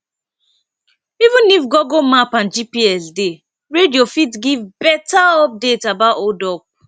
even if google map and gps dey radio fit give better update about hold up